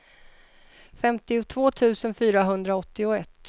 femtiotvå tusen fyrahundraåttioett